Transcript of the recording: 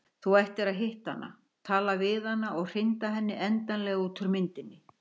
Þú ættir að hitta hana, tala við hana og hrinda henni endanlega út úr myndinni.